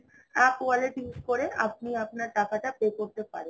app wallet use করে আপনি আপনার টাকাটা pay করতে পারেন